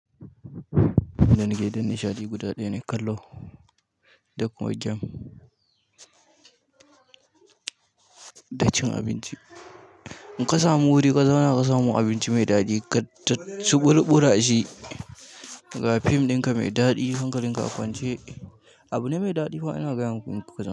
Da nake din nishaɗi guda ɗaya ne kallo, da kuma gyam, da cin abinci. In ka samu wuri ka zauna ka samu abinci mai daɗi ka ci ɓurɓura shi, ga film ɗinka mai daɗi hankalin ka a kwance. Abu ne mai ɗadi fa ina gaya muku.